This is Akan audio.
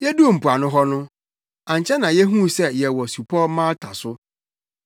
Yeduu mpoano hɔ no, ankyɛ na yehuu sɛ yɛwɔ supɔw Malta so.